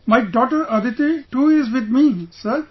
My daughter Aditi too is with me Sir